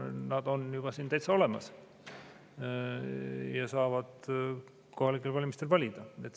Nad on siin juba täitsa olemas ja saavad kohalikel valimistel valida.